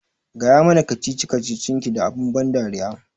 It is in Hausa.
Gaya mana kacici kacicin ki da abun ban dariya